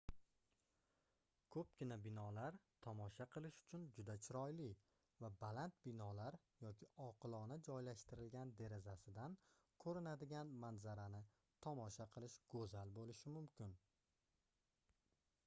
koʻpgina binolar tomosha qilish uchun juda chiroyli va baland binolar yoki oqilona joylashtirilgan derazasidan koʻrinadigan manzarani tomosha qilish goʻzal boʻlishi mumkin